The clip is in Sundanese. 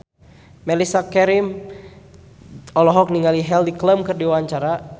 Mellisa Karim olohok ningali Heidi Klum keur diwawancara